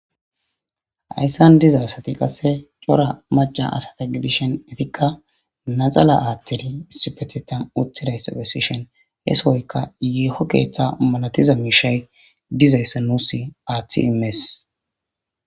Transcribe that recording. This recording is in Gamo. Hayssan diza asati qasse cora maca asata gidishon etikka naxala aaththiri sipetetan utidayssa dessishon heesohoyka yeeho keeththa malatiza miishay dizayssa nuus aaththi imes.